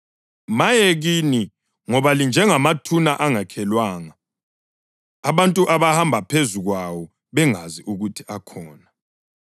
Maye kini, ngoba linjengamathuna angakhelwanga, abantu abahamba phezu kwawo bengazi ukuthi akhona.”